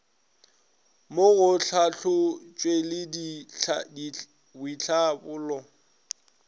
mo go tlhahlotšweledi le boitlhabollo